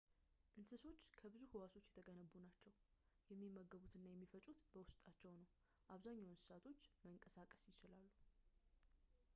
እንስሶች ከብዙ ህዋሶች የተገነቡ ናቸው የሚመገቡት እና የሚፈጩት በውስጣቸው ነው አብዛኛዎቹ እንስሳቶች መንቀሳቀስ ይችላሉ